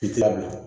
I tilala